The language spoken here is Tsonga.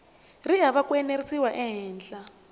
ri hava ku enerisiwa ehenhla